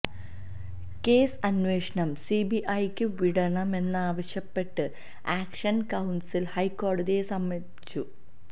case അന്വേഷണം സി ബി ഐക്ക് വിടണമെന്നാവശ്യപ്പെട്ട് ആക്ഷന് കൌണ്സില് ഹൈക്കോടതിയെ സമീപിച്ചു